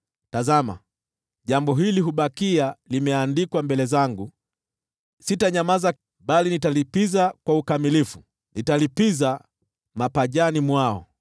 “Tazama, jambo hili hubakia limeandikwa mbele zangu: sitanyamaza, bali nitalipiza kwa ukamilifu; nitalipiza mapajani mwao: